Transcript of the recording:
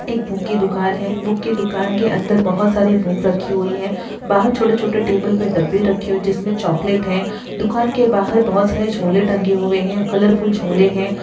एक बुक की दुकान है| बुक की दुकान के अंदर बहुत सारी बुक रखी हुई है| बाहर छोटे-छोटे टेबल पे डब्बे रखे हुए जिसमें चॉकलेट है| दुकान के बाहर बहुत सारी झोले टंगे हुए हैं कलरफूल झोले हैं।